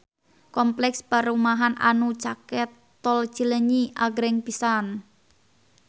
Kompleks perumahan anu caket Tol Cileunyi agreng pisan